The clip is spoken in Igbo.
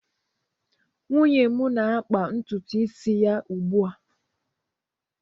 nwunye m na-akpa ntutu isi ya ugbu a